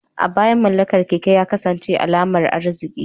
A baya, mallakar keke ya kasance alamar arziki.